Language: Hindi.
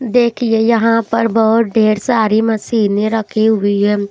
देखिए यहां पर बहुत ढेर सारी मशीनें रखी हुई है।